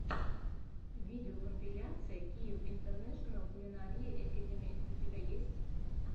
видеокомпиляция киев интернэшенал кулинари экэдими у тебя есть